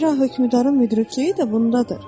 Zira hökmdarın müdrikliyi də bundadır.